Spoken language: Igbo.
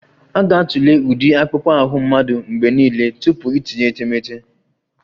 A ga-atụle ụdị akpụkpọ ahụ mmadụ mgbe niile tupu itinye etemeete